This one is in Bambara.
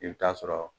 I bɛ taa sɔrɔ